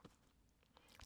TV 2